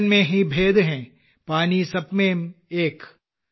ബർത്തൻ മെം ഹീ ഭേദ് ഹെ പാനി സബ് മെം ഏക് കക